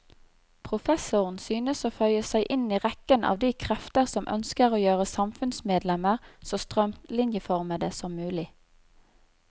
Professoren synes å føye seg inn i rekken av de krefter som ønsker å gjøre samfunnsmedlemmer så strømlinjeformede som mulig.